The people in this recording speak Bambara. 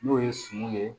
N'o ye suman ye